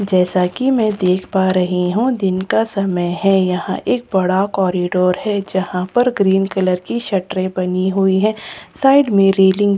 जैसा कि मैं देख पा रही हूं दिन का समय है यहां एक बड़ा कॉरिडोर है जहां पर ग्रीन कलर की शटरें बनी हुई है साइड में रेलिंग बनी --